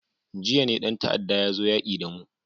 Jiya ne dan ta'adda ya zo yaki da mu.